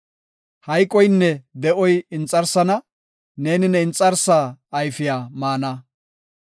Hayqoynne de7oy inxarsana; neeni ne inxarsaa ayfiya maana.